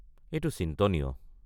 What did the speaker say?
এইটো চিন্তনীয়।